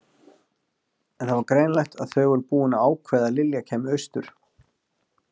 En það var greinilegt að þau voru búin að ákveða að Lilla kæmi austur.